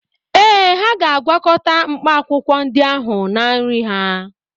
Ee, ha ga-agwakọta mkpaakwụkwọ ndị ahụ na nri ha.